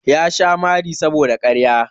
Ya sha mari saboda ƙarya.